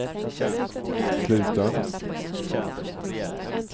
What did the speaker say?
slutar